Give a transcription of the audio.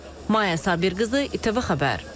Maya Sabirqızı, ITV Xəbər.